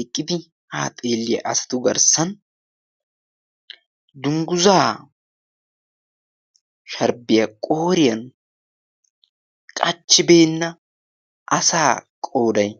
eqqidi ha xeelliyaa asatu garssan dungguzaa sharbbiyaa qooriyan qachchibeenna asaa qoorai